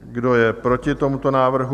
Kdo je proti tomuto návrhu?